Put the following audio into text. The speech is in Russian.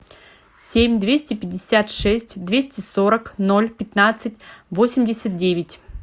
семь двести пятьдесят шесть двести сорок ноль пятнадцать восемьдесят девять